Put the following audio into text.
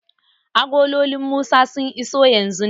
Agololin Musa sun iso yanzun nan.